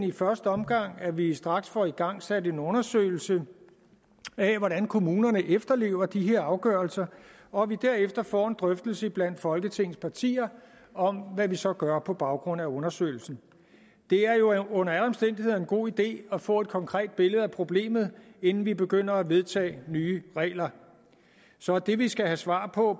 i første omgang at vi straks får igangsat en undersøgelse af hvordan kommunerne efterlever de her afgørelser og at vi derefter får en drøftelse blandt folketingets partier om hvad vi så gør på baggrund af undersøgelsen det er jo under alle omstændigheder en god idé at få et konkret billede af problemet inden vi begynder at vedtage nye regler så det vi skal have svar på